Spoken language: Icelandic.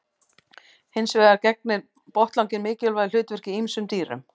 Hins vegar gegnir botnlanginn mikilvægu hlutverki í ýmsum dýrum.